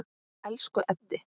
Elsku Eddi.